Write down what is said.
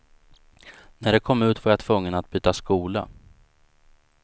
När det kom ut var jag tvungen att byta skola.